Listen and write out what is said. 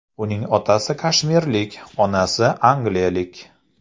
Uning otasi kashmirlik, onasi angliyalik.